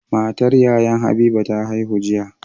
Matar Yayan habiba ta haihu